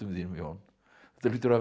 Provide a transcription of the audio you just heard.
þínum Jón þetta hlýtur að